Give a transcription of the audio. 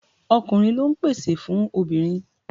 Ọkùnrin lọ ń pèsè fún obìnrin.